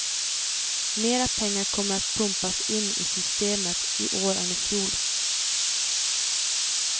Mera pengar kommer att pumpas in i systemet i år än i fjol.